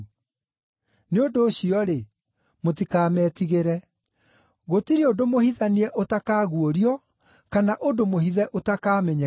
“Nĩ ũndũ ũcio-rĩ, mũtikametigĩre. Gũtirĩ ũndũ mũhithanie ũtakaguũrio, kana ũndũ mũhithe ũtakamenyeka.